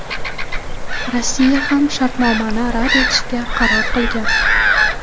Rossiya ham shartnomani rad etishga qaror qilgan.